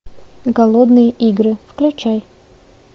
голодные игры включай